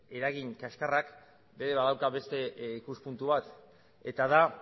eragin kaskarrak ere badauka beste ikuspuntu bat eta da